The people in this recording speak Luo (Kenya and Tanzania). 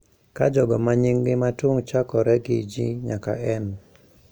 Ka jogo ma nyinggi matung` chakore gi G nyaka n